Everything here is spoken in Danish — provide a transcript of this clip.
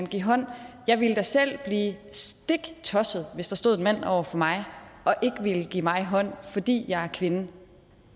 give hånd jeg ville da selv blive stiktosset hvis der stod en mand over for mig og ikke ville give mig hånd fordi jeg er kvinde